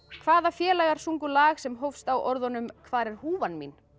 hvaða félagar sungu lag sem hófst á orðunum hvar er húfan mín